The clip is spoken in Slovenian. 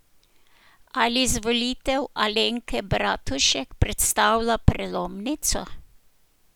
Ali izvolitev Alenke Bratušek predstavlja prelomnico?